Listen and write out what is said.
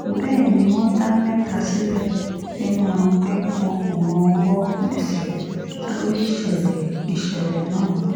bẹ́ẹ̀ ni wọ́n dá mẹ́ta sílẹ̀ nínú wọn pé wọn kò mọwọ́ mẹsẹ̀ lórí ìṣẹ̀lẹ̀ ìṣẹ̀lẹ̀ náà